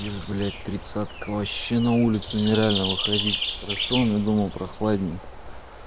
ишь блядь тридцатка вообще на улицу не реально выходить хорошо у меня дома прохладненько